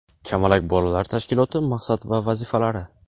"Kamalak" bolalar tashkiloti maqsad va vazifalari.